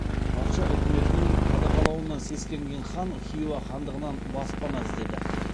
патша үкіметінің қудағалауынан сескенген хан хиуа хандығынан баспана іздеді